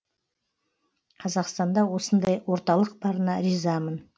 қазақстанда осындай орталық барына ризамын